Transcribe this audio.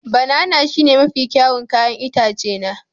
Banana shine mafi kyawun 'ya'yan itace na